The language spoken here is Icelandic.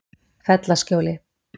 Fellaskjóli